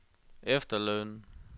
efterløn